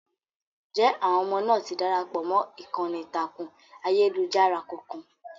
jẹ́ àwọn ọmọ náà ti darapọ̀ mọ́ ìkànnì ìtàkùn ayélujára kankan?